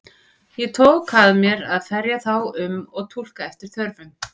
Ég tók að mér að ferja þá um og túlka eftir þörfum.